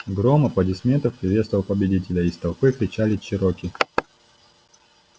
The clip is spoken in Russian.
гром аплодисментов приветствовал победителя из толпы кричали чероки